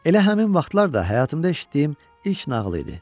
Elə həmin vaxtlar da həyatımda eşitdiyim ilk nağıl idi.